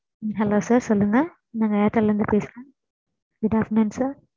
Hello sir. சொல்லுங்க, நாங்க airtel லே இருந்து பேசுறோம் Good afternoon sir